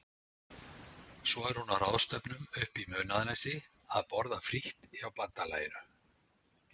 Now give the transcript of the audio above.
Svo er hún á ráðstefnum uppi í Munaðarnesi að borða frítt hjá bandalaginu.